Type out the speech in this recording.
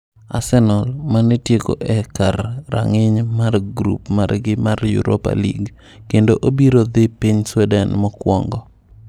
Arsenal, mane tieko e kar rang'iny mar grup margi mar Europa League, kendo obiro dhi piny Sweden mokuongo.